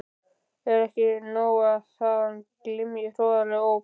Er ekki nóg að þaðan glymji hroðaleg óp?